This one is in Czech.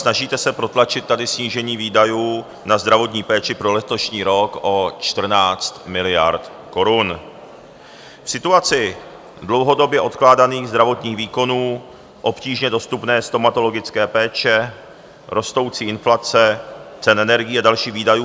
Snažíte se protlačit tady snížení výdajů na zdravotní péči pro letošní rok o 14 miliard korun v situaci dlouhodobě odkládaných zdravotních výkonů, obtížně dostupné stomatologické péče, rostoucí inflace, cen energií a dalších výdajů.